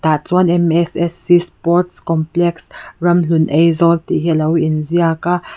tah chuan sports complex ramhlun aizawl tih hi a lo in ziaka.